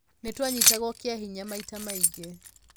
"Nĩ twanyitagwo kĩa hinya maita maingĩ".